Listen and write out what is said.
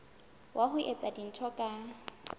wa ho etsa dintho ka